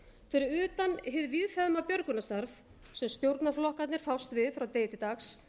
fyrir utan hið víðfeðma björgunarstarf sem stjórnarflokkarnir fást við frá degi til dags